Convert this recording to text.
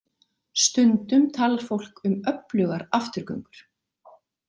Stundum talar fólk um öflugar afturgöngur.